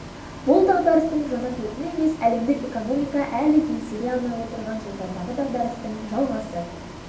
бұл дағдарыстың жаңа толқыны емес әлемдік экономика әлі еңсере алмай отырған жылдардағы дағдарыстың жалғасы